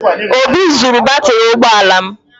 Obi zuru batrị ụgbọ ala m